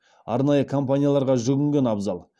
арнайы компанияларға жүгінген абзал